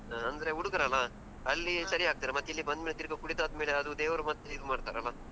ಅಂದ್ರೆ ಹುಡುಗರಲ್ಲ ಅಲ್ಲಿ ಸರಿಯಾಗ್ತಾರೆ. ಮತ್ತೆ ಇಲ್ಲಿ ಬಂದ್ಮೇಲೆ ತಿರುಗ ಕುಡಿದಾದ್ಮೇಲೆ ಅದು ದೇವರು ಮತ್ ಇದು ಮಾಡ್ತಾರಲ್ಲ.